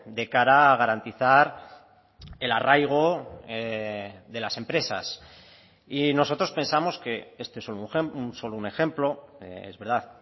de cara a garantizar el arraigo de las empresas y nosotros pensamos que este es solo un ejemplo es verdad